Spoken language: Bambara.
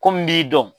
Ko min b'i dɔn